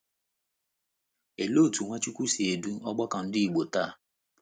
Olee otú Nwachukwu si edu ọgbakọ Ndị Igbo taa?